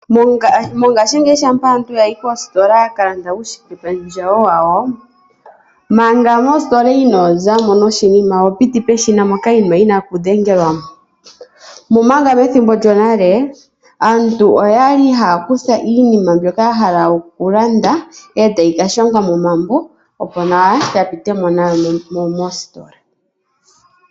Mongashingeyi shampa aantu yayi koostola yaka landa uushikependjewo wawo, manga mostola ino zamo noshinima oho piti peshina moka iinima yina oku dhengelwa. Omanga methimbo lyonale aantu oyali haya kutha iinima mbyoka ya hala oku landa e tayi ka shangwa momambo opo nawa ya pitemo nayo moostola.